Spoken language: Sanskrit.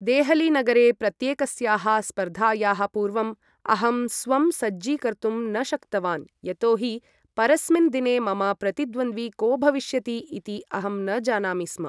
देहलीनगरे प्रत्येकस्याः स्पर्धायाः पूर्वम् अहं स्वं सज्जीकर्तुं न शक्तवान् यतोहि परस्मिन् दिने मम प्रतिद्वन्द्वी को भविष्यति इति अहं न जानामि स्म।